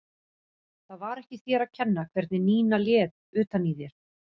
Það var ekki þér að kenna hvernig Nína lét utan í þér.